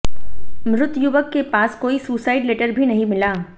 मृत युवक के पास कोई सुसाइड लेटर भी नहीं मिला